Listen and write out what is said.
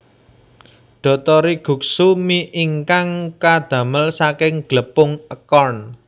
Dotori guksu mi ingkang kadamel saking glepung acorn